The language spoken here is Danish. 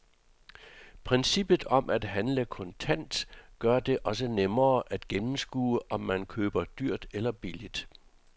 Princippet om at handle kontant gør det også nemmere at gennemskue, om man køber dyrt eller billigt.